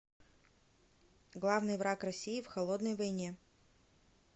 главный враг россии в холодной войне